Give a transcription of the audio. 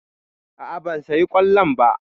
A'a ban saya kollon ba.